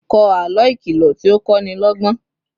kò àlọ ìkìlọ tí o ko ni lógbón